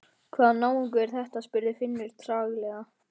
Hvaða náungi er þetta? spurði Finnur treglega.